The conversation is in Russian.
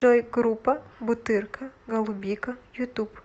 джой группа бутырка голубика ютуб